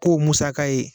K'o musaka ye